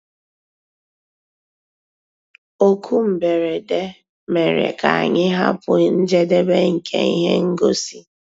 Ókú mbérèdé mérè ká ànyị́ hàpụ́ njédébè nkè íhé ngósì.